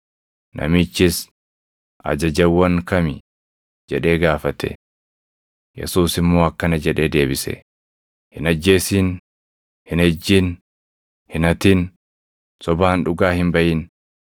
Namichis, “Ajajawwan kami?” jedhee gaafate. Yesuus immoo akkana jedhee deebise; “ ‘Hin ajjeesin; hin ejjin; hin hatin; sobaan dhugaa hin baʼin;